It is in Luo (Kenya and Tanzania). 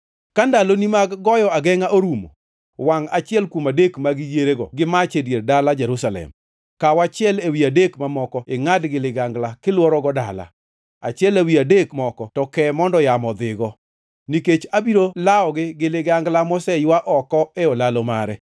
Ka ndaloni mag goyo agengʼa orumo, wangʼ achiel kuom adek mag yierego gi mach e dier dala Jerusalem. Kaw achiel ewi adek mamoko ingʼad gi ligangla, kilworogo dala. Achiel ewi adek moko to ke mondo yamo odhigo. Nikech abiro lawogi gi ligangla moseywa oko e olalo mare.